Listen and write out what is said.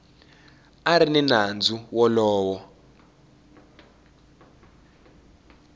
a ri ni nandzu wolowo